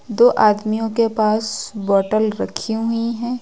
दो आदमियों के पास बॉटल रखी हुई हैं।